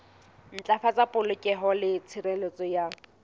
ntlafatsa polokeho le tshireletso ya